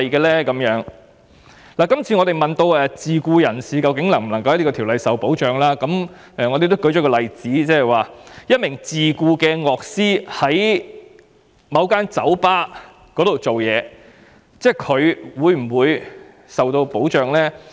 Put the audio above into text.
我們也有問及自僱人士在法例下是否受到保障，而所用的例子是一名在某酒吧工作的自僱樂師是否受到保障。